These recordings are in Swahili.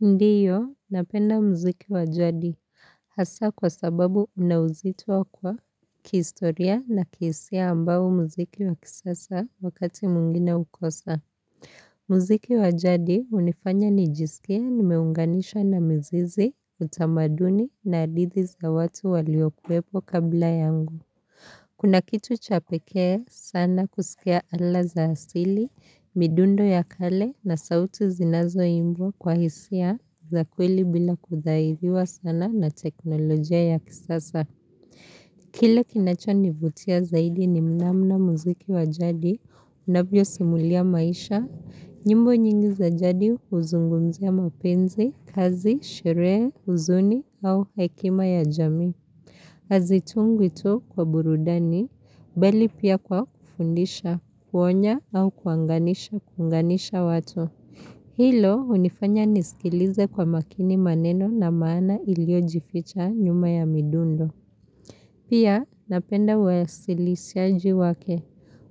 Ndiyo, napenda muziki wajadi, hasa kwa sababu unawuzitua kwa kistoria na kihisia ambao muziki wakisasa wakati muingine ukosa. Muziki wajadi unifanya nijisikie nimeunganisha na mzizi, utamaduni na adithi za watu waliokuepo kabla yangu. Kuna kitu chapeke sana kusikia ala za asili, midundo ya kale na sauti zinazo imbwa kwa hisia za kweli bila kudhaidhiwa sana na teknolojia ya kisasa. Kile kinacho nivutia zaidi ni mnamna muziki wa jadi, unavyo simulia maisha, nyimbo nyingi za jadi uzungumzia mapenzi, kazi, sheree, uzuni au hekima ya jami. Azitungwi tu kwa burudani, bali pia kwa kufundisha, kuonya au kuanganisha kunganisha watu. Hilo unifanya nisikilize kwa makini maneno na maana iliojificha nyuma ya midundo. Pia napenda wasilisiaji wake.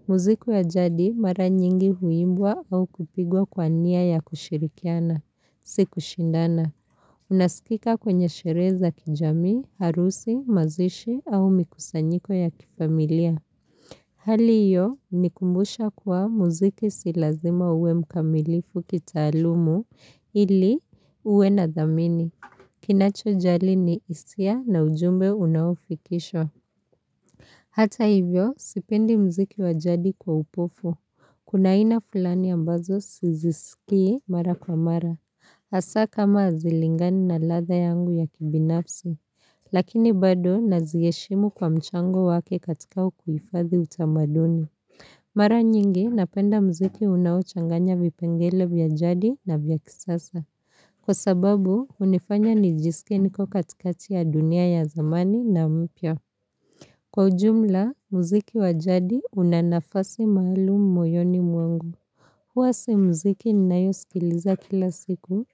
Muziku wa jadi mara nyingi huimbwa au kupigwa kwa nia ya kushirikiana. Siku shindana. Unasikika kwenye shere za kijami, harusi, mazishi au mikusanyiko ya kifamilia. Hali iyo nikumbusha kuwa muziki si lazima uwe mkamilifu kita alumu ili uwe na dhamini. Kinacho jali ni isia na ujumbe unaufikishwa. Hata hivyo sipendi muziki wajadi kwa upofu. Kuna aina fulani ambazo sizisikie mara kwa mara. Asa kama azilingani na latha yangu ya kibinafsi, lakini bado naziheshimu kwa mchango wake katika kuifadhi utamaduni. Mara nyingi napenda mziki unawochanganya vipengele vya jadi na vya kisasa. Kwa sababu, unifanya nijisike niko katikati ya dunia ya zamani na mpya. Kwa ujumla, mziki wajadi unanafasi mahalumu moyoni mwangu. Huwasi mziki ninayo sikiliza kila siku,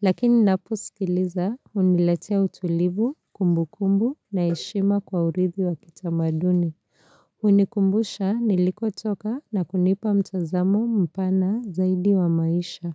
lakini napo sikiliza uniletea utulivu, kumbu kumbu na heshima kwa urithi wa kitamaduni. Unikumbusha niliko toka na kunipa mtazamo mpana zaidi wa maisha.